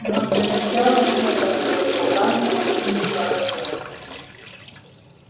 но для начала и это хорошо гарри очень хорошо